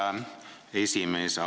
Härra esimees!